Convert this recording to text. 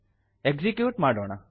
execute ಮಾಡೋಣ